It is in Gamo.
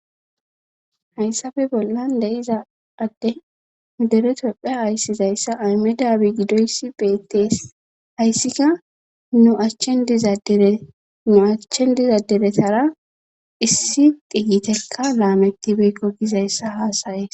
hayssafe bollan deyiza adde nu deretopphe hayssizayssa aymedabi gidoyssi beettees hayssika nu achchen dizadere nu achchen dizaderetara issi diyiteka laametibekko gizayssa haasayees